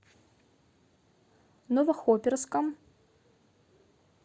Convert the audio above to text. новохоперском